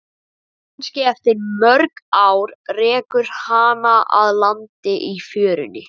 Kannski eftir mörg ár rekur hana að landi í fjörunni.